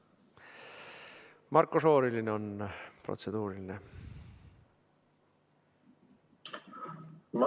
Marko Šorinil on protseduuriline küsimus.